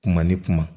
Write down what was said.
Kuma ni kuma